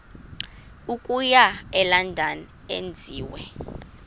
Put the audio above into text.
okuya elondon enziwe